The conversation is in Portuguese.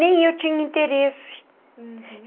Nem eu tinha interesse. Uhum.